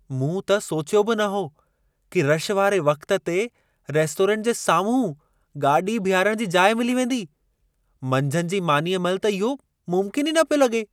मूं त सोचियो बि न हो कि रशि वारे वक़्त ते रेस्टोरेंट जे साम्हूं गाॾी बीहारण जी जाइ मिली वेंदी। मंझंदि जी मानीअ महिल त इहो मुम्किन ई न पियो लॻे।